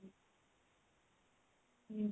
ହୁଁ